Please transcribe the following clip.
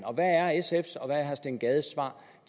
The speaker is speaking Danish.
hvad er sfs og herre steen gades svar